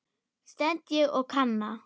stend ég og kanna.